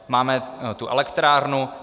Máme tu elektrárnu.